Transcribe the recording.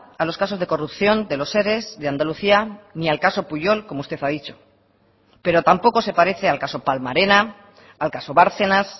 a los casos de corrupción de los ere de andalucía ni al caso pujol como usted ha dicho pero tampoco se parece al caso palma arena al caso bárcenas